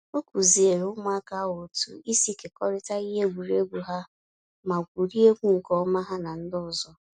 Ọ kuziere ụmụaka ahụ otu isi kekọrịta ihe egwuregwu ha ma gwuriegwu nke ọma ha na ndị ọzọ